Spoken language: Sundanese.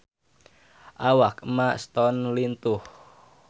Awak Emma Stone lintuh